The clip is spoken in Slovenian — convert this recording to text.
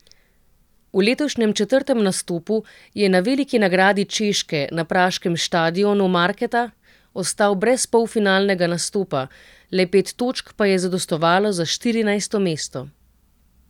V letošnjem četrtem nastopu je na veliki nagradi Češke na praškem štadionu Marketa ostal brez polfinalnega nastopa, le pet točk pa je zadostovalo za štirinajsto mesto.